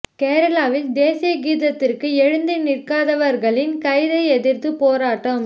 கேரளாவில் தேசிய கீதத்திற்கு எழுந்து நிற்காதவர்களின் கைதை எதிர்த்து போராட்டம்